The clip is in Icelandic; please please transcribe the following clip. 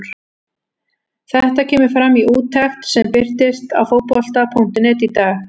Þetta kemur fram í úttekt sem birtist á Fótbolta.net í dag.